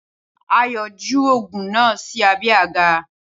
Ayò̩ ju ògùn náà sí abé̩ àga